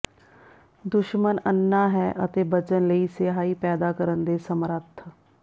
ਦੁਸ਼ਮਣ ਅੰਨ੍ਹਾ ਹੈ ਅਤੇ ਬਚਣ ਲਈ ਸਿਆਹੀ ਪੈਦਾ ਕਰਨ ਦੇ ਸਮਰੱਥ